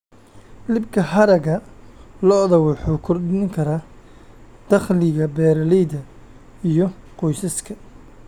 Iibka haragga lo'da wuxuu kordhin karaa dakhliga beeralayda iyo qoysaska.